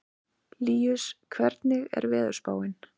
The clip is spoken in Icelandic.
Líus, hvernig er veðurspáin?